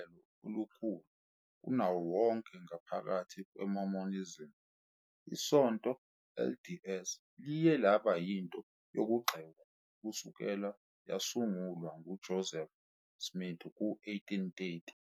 Njengehlelo elikhulu kunawo wonke ngaphakathi kweMormonism, iSonto LDS liye laba yinto yokugxekwa kusukela yasungulwa nguJoseph Smith ku-1830.